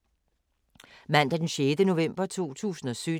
Mandag d. 6. november 2017